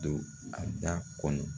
Don a da kɔnɔ.